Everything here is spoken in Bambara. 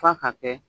F'a ka kɛ